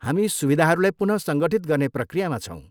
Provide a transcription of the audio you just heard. हामी सुविधाहरूलाई पुनःसङ्गठित गर्ने प्रक्रियामा छौँ।